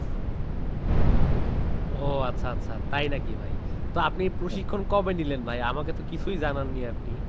ওহ আচ্ছা আচ্ছা তাই নাকি ভাই? তো আপনি প্রশিক্ষণ কবে নিলেন ভাই? আমাকে তো কিছুই জানান নি আপনি।